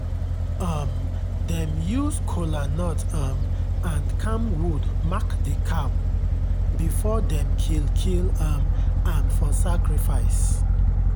um dem use kolanut um and camwood mark the cow before dem kill kill um am for sacrifice.